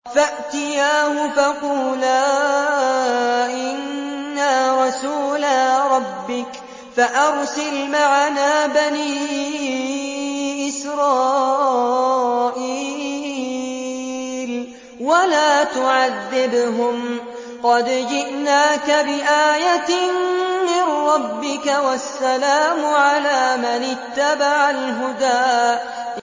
فَأْتِيَاهُ فَقُولَا إِنَّا رَسُولَا رَبِّكَ فَأَرْسِلْ مَعَنَا بَنِي إِسْرَائِيلَ وَلَا تُعَذِّبْهُمْ ۖ قَدْ جِئْنَاكَ بِآيَةٍ مِّن رَّبِّكَ ۖ وَالسَّلَامُ عَلَىٰ مَنِ اتَّبَعَ الْهُدَىٰ